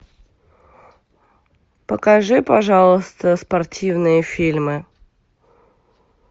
покажи пожалуйста спортивные фильмы